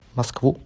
москву